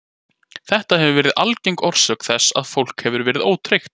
Þetta hefur verið algeng orsök þess að fólk hefur verið ótryggt.